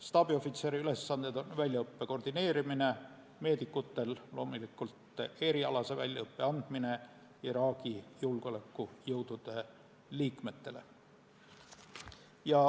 Staabiohvitseri ülesanded on väljaõppe koordineerimine ja meedikutel loomulikult erialase väljaõppe andmine Iraagi julgeolekujõudude liikmetele.